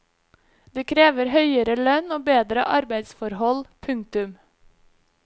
De krever høyere lønn og bedre arbeidsforhold. punktum